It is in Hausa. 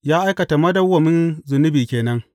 Ya aikata madawwamin zunubi ke nan.